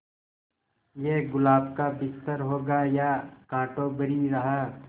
ये गुलाब का बिस्तर होगा या कांटों भरी राह